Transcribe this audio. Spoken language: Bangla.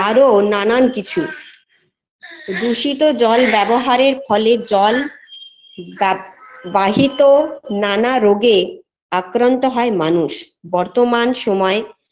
আরও নানান কিছু দূষিত জল ব্যবহারের ফলে জল বাপ বাহিত নানা রোগে আক্রান্ত হয় মানুষ বর্তমান সময়ে